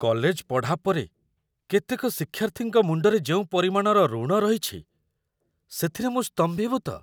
College ପଢ଼ା ପରେ କେତେକ ଶିକ୍ଷାର୍ଥୀଙ୍କ ମୁଣ୍ଡରେ ଯେଉଁ ପରିମାଣର ଋଣ ରହିଛି, ସେଥିରେ ମୁଁ ସ୍ତମ୍ଭୀଭୂତ।